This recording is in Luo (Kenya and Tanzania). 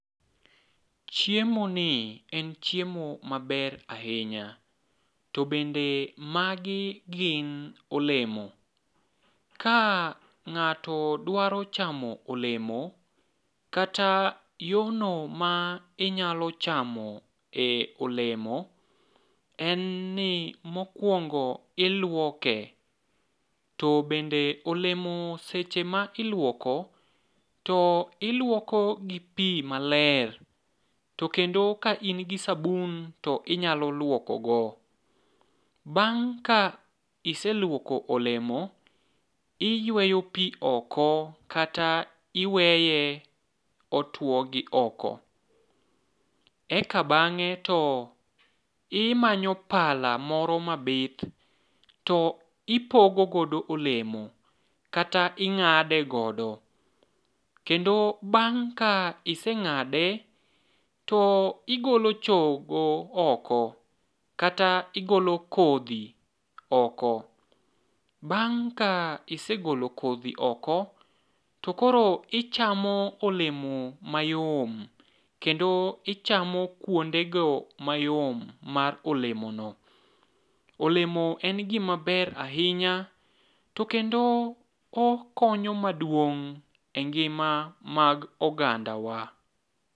Chiemoni en chiemo maber ahinya to bende magi gin olemo, ka ng'ato dwaro chamo olemo, kata yorno ma inyalo chamo e olemo en ni mokwongo ilwoke, to bende olemo seche ma ilwoko, to ilwoko gi pi maler, to kendo ka in gi sabun to inyalo lwoko go. Bang' ka iselwoko olemo, iyweyo pi oko kata iweye otwo gi oko. Eka bang'e to imanyo pala moro mabith, to ipogo godo olemo, kata ing'ade godo, kendo bang' ka iseng'ade, to igolo chogo oko, kata igolo kodhi oko, bang' ka isegolo kodhi oko, tokoro ichamo olemo mayom kendo ichamo kwondego mayom mar olemono. Olemo en gimaber ahinya to kendo okonyo maduong' e ngima mag ogandawa.